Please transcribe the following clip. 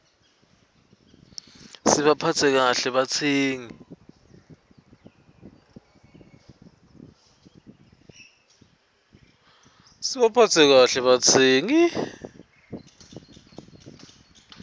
sibaphatse kahle batsengi